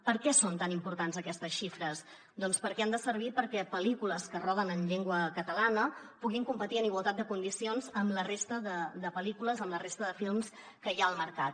per què són tan importants aquestes xifres doncs perquè han de servir perquè pel·lícules que es roden en llengua catalana puguin competir en igualtat de condicions amb la resta de pel·lícules amb la resta de films que hi ha al mercat